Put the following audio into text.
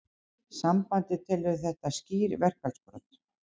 Sambandið telur þetta skýr verkfallsbrot